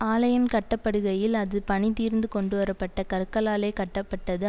ஆலயம் கட்டப்படுகையில் அது பணிதீர்ந்து கொண்டுவர பட்ட கற்களாலே கட்டப்பட்டது